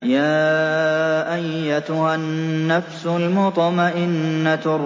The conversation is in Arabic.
يَا أَيَّتُهَا النَّفْسُ الْمُطْمَئِنَّةُ